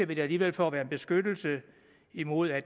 ligger i dag for at være en beskyttelse imod at